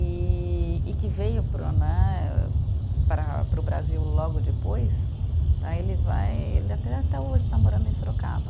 E e que veio para o né, para para o Brasil logo depois, tá, ele vai, ele até até hoje está morando em Sorocaba.